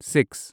six